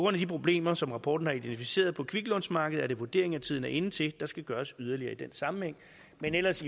af de problemer som rapporten har identificeret på kviklånsmarkedet er det vurderingen at tiden er inde til at der skal gøres yderligere i den sammenhæng men ellers